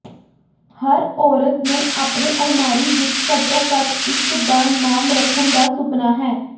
ਹਰ ਔਰਤ ਨੂੰ ਆਪਣੇ ਅਲਮਾਰੀ ਵਿੱਚ ਘੱਟੋ ਘੱਟ ਇਕ ਦਾ ਨਾਮ ਰੱਖਣ ਦਾ ਸੁਪਨਾ ਹੈ